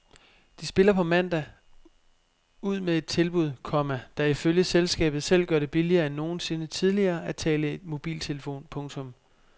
De spiller på mandag ud med et tilbud, komma der ifølge selskabet selv gør det billigere end nogensinde tidligere at tale i mobiltelefon. punktum